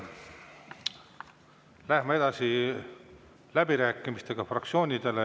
Läheme edasi fraktsioonide läbirääkimistega.